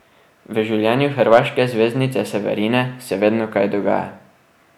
V življenju hrvaške zvezdnice Severine se vedno kaj dogaja.